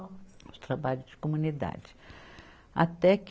Os trabalhos de comunidade. até que